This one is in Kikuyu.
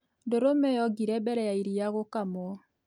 ndũrũme yongire mbere ya iria gũkamwo